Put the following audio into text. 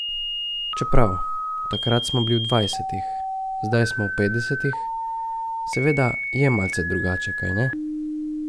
Čeprav, takrat smo bili v dvajsetih, zdaj smo v petdesetih, seveda je malce drugače, kajne?